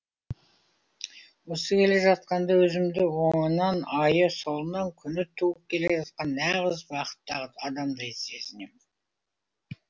осы келе жатқанда өзімді оңынан айы солынан күні туып келе жатқан нағыз бақытты адамдай сезінем